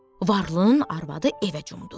Varlının arvadı evə cumdu.